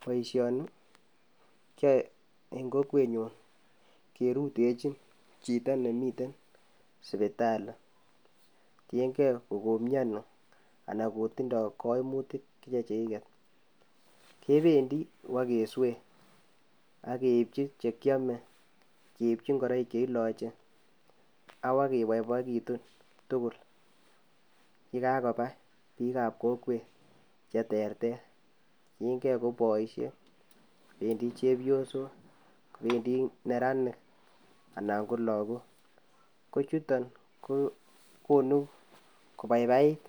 Boishoni kiyoe en kokwenyun kerutechin chito nemiten sipitali, tiengee kokomionii anan kotindo koimutiik chechigeet. Kebendii ibokeswei ak keibchi chekiome, ak keibchi ingoroik che ilooche ak bak keboiboiekitun tugul ye kakoba biik ak kokweet cheterter, tienge koboisiek ,bendi chepyosok ak neranik anan ko logook. Kochuton ko konun kobaibait